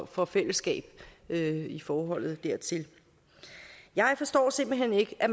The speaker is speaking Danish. for fællesskab i forholdet dertil jeg forstår simpelt hen ikke at